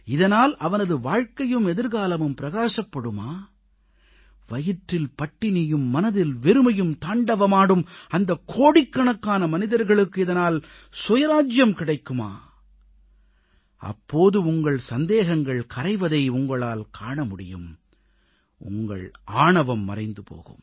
இதனால் அவனது வாழ்க்கையும் எதிர்காலமும் பிரகாசப்படுமா வயிற்றில் பட்டினியும் மனதில் வெறுமையும் தாண்டவமாடும் அந்தக் கோடிக்கணக்கான மனிதர்களுக்கு இதனால் சுயராஜ்ஜியம் கிடைக்குமா அப்போது உங்கள் சந்தேகங்கள் கரைவதை உங்களால் காண முடியும் உங்கள் ஆணவம் மறைந்து போகும்